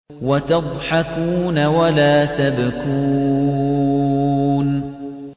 وَتَضْحَكُونَ وَلَا تَبْكُونَ